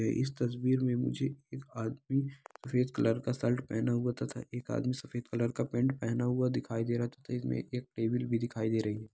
इस तस्वीर में मुझे एक आदमी सफ़ेद कलर का शर्ट पहना हुआ तथा सफ़ेद कलर का पेंट पेहना हुआ दिखाई दे रहा है तो एक टेबुल भी दिखाई दे रही है।